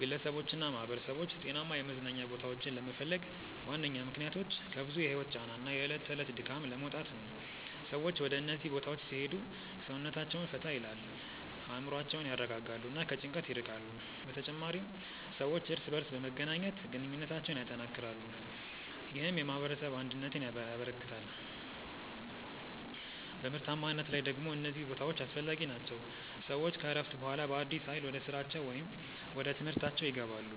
ግለሰቦችና ማኅበረሰቦች ጤናማ የመዝናኛ ቦታዎችን ለመፈለግ ዋነኛ ምክንያቶች ከብዙ የህይወት ጫና እና የዕለት ተዕለት ድካም ለመውጣት ነው። ሰዎች ወደ እነዚህ ቦታዎች ሲሄዱ ሰውነታቸውን ፈታ ይላል፣ አእምሮአቸውን ያረጋጋሉ እና ከጭንቀት ይርቃሉ። በተጨማሪም ሰዎች እርስ በርስ በመገናኘት ግንኙነታቸውን ያጠናክራሉ፣ ይህም የማኅበረሰብ አንድነትን ያበረክታል። በምርታማነት ላይ ደግሞ እነዚህ ቦታዎች አስፈላጊ ናቸው፤ ሰዎች ከእረፍት በኋላ በአዲስ ኃይል ወደ ስራቸው ወይም ወደ ትምህርታችው ይገባሉ።